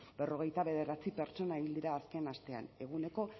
berrogeita bederatzi pertsona hil dira azken astean eguneko